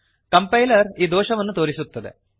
compiler ಈ ದೋಷವನ್ನು ತೋರಿಸುತ್ತದೆ